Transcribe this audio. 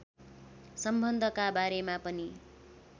सम्बन्धका बारेमा पनि